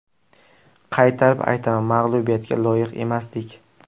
Qaytarib aytaman, mag‘lubiyatga loyiq emasdik.